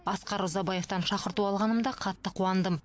асқар ұзабаевтан шақырту алғанымда қатты қуандым